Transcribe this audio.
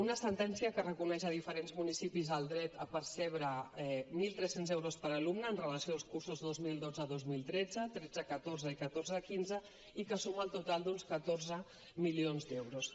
una sentència que reconeix a diferents municipis el dret a percebre mil tres cents euros per alumne amb relació als curs dos mil dotze dos mil tretze tretze catorze i catorze quinze i que suma un total d’uns catorze milions d’euros